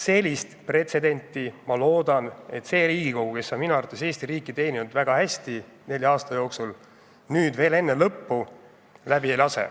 Sellist pretsedenti, ma loodan, et see Riigikogu, kes on minu arvates Eesti riiki teeninud väga hästi nelja aasta jooksul, nüüd veel enne koosseisu lõppu läbi ei lase.